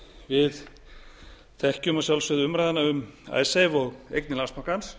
við þekkjum að sjálfsögðu umræðuna um icesave og eignir landsbankans